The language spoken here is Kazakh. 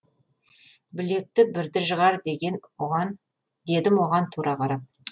білекті бірді жығар дедім оған тура қарап